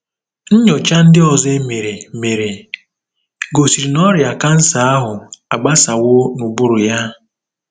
Nnyocha ndị ọzọ e mere mere gosiri na ọrịa kansa ahụ agbasawo n'ụbụrụ ya.